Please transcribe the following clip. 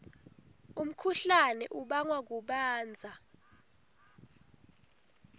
umkhuhlane ubangwa kubandza